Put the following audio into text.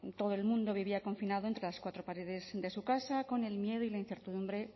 todo el mundo vivía confinado entre las cuatro paredes de su casa con el miedo y la incertidumbre